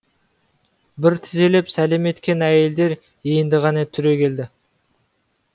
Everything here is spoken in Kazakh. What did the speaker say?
бір тізелеп сәлем еткен әйелдер енді ғана түрегелді